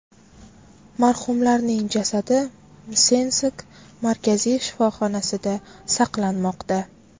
Marhumlarning jasadi Msensk markaziy shifoxonasida saqlanmoqda.